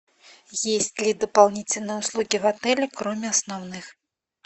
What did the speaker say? есть ли дополнительные услуги в отеле кроме основных